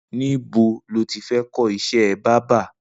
Nibó ló ti fẹ̀ kọ iṣẹ̀ bàbà?